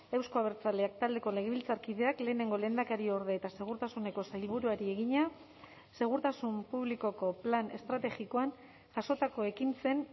euzko abertzaleak taldeko legebiltzarkideak lehenengo lehendakariorde eta segurtasuneko sailburuari egina segurtasun publikoko plan estrategikoan jasotako ekintzen